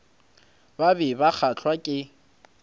ba be ba kgahlwa ke